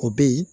O be yen